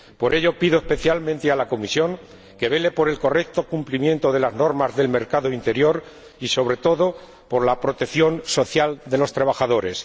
Por ello, pido especialmente a la Comisión que vele por el correcto cumplimiento de las normas del mercado interior y, sobre todo, por la protección social de los trabajadores.